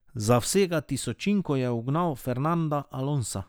Za vsega tisočinko je ugnal Fernanda Alonsa.